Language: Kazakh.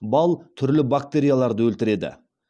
бал түрлі бактерияларды өлтіреді